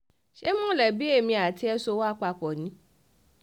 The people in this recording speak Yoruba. ṣé mọ̀lẹ́bí èmi àti ẹ̀ ti sọ wá papọ̀ ni